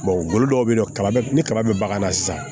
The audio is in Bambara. dɔw bɛ yen nɔ kaba ni kaba bɛ bagan na sisan